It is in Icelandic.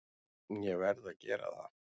Ég verð að gera það.